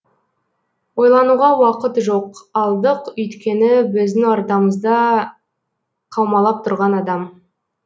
ойлануға уақыт жоқ алдық өйткені біздің ортамызда қаумалап тұрған адам